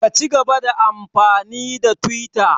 Ka cigaba da amfani da twita!